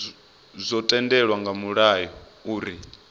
zwo tendelwa nga mulayo uri